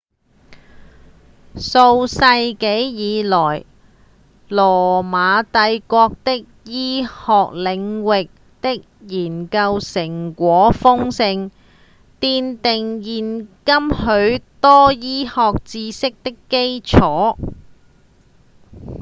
數世紀以來羅馬帝國在醫學領域的研究成果豐碩奠定現今許多醫學知識的基礎